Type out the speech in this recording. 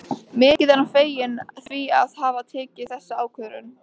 Mikið er hann feginn því að hafa tekið þessa ákvörðun.